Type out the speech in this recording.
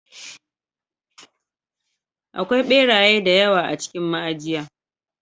Akwai ɓeraye da yawa a cikin ma'ajiya.